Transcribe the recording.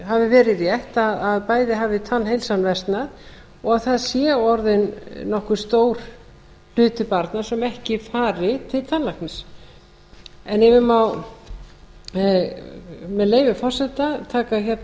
hafi verið rétt að bæði hafi tannheilsan versnað og það sé orðinn nokkuð stór hluti barna sem ekki fari til tannlæknis ef ég má með leyfi forseta taka hérna